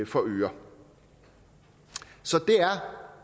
for øre så det er